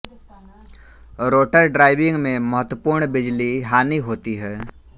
rotor driving में महत्वपूर्ण बिजली हानि होती है